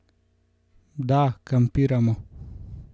Da, kampiramo!